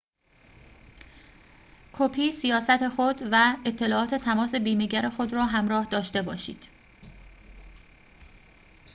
کپی سیاست خود و اطلاعات تماس بیمه‌گر خود را همراه داشته باشید